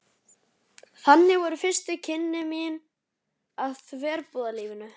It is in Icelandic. Þannig voru fyrstu kynni mín af verbúðalífinu.